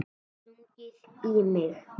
Stungið í mig?